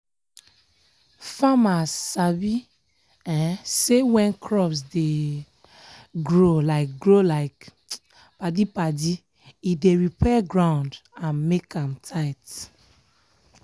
farmers sabi um say when crops dey um grow like grow like um padi-padi e dey repair ground and make am tight.